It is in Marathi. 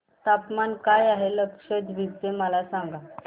तापमान काय आहे लक्षद्वीप चे मला सांगा